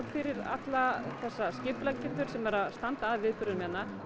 fyrir alla þessa skipuleggjendur sem eru að standa að viðburðum hérna